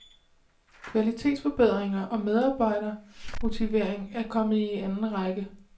Kvalitetsforbedringer og medarbejdermotivering er kommet i anden række.